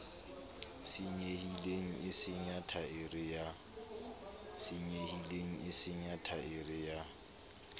senyehileng e senya thaere ya